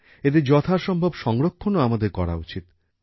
এদের যথাসম্ভব সংরক্ষণও আমাদের করা উচিত